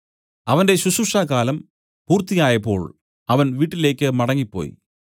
അവന്റെ ശുശ്രൂഷാകാലം പൂർത്തിയായപ്പോൾ അവൻ വീട്ടിലേക്ക് മടങ്ങിപ്പോയി